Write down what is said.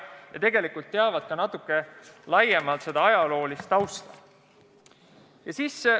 Ja tegelikult teavad nad ka natuke laiemalt kõige ajaloolist tausta.